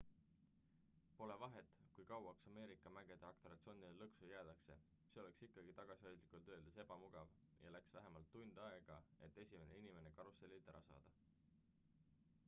"pole vahet kui kauaks "ameerika mägede" atraktsioonile lõksu jäädakse see oleks ikkagi tagasihoidlikult öeldes ebamugav ja läks vähemalt tund aega et esimene inimene karussellilt ära saada.